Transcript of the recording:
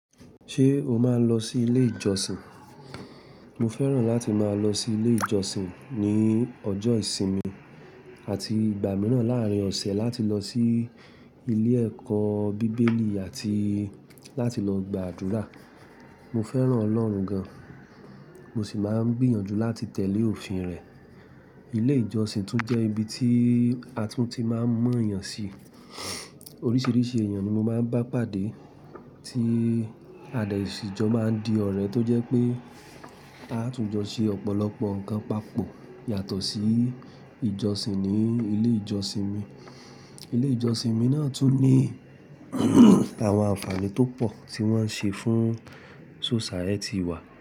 Ṣé o máa ń lọ sí ilé ìjọsìn? Mo fẹ́ràn láti máa lọ sí ilé ìjọsìn ní ọjọ́ ìsinmi àti ìgbà mìíràn láàrín ọ̀sẹ̀ láti lọ sí ilé ẹ̀kọ́ bíbélì àti láti lọ gba àdúrà. Mo fẹ́ràn Ọlọ́run gan, mo sì máa ń gbìyànjú láti tẹ̀lé òfin rẹ̀. Ilé ìjọsìn tún jẹ́ ibi tí a tún ti máa ń mọ èèyàn sí. Oríṣiríṣi èèyàn ni mo máa ń bá pàdé tí a dẹ ṣìjọ máa ń di ọ̀rẹ́ tó jẹ́ pé a tún jọ ṣe ọ̀pọ̀lọpọ̀ nǹkan papọ̀ yàtọ̀ sí ìjọsìn ní ilé ìjọsìn mi. Ilé ìjọsìn mi náà tún ní àwọn àǹfààní tó pọ̀ tí wọ́n ń ṣe fún society wa.